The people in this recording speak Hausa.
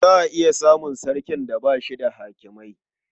Za a iya samun sarkin da ba shi da hakimai.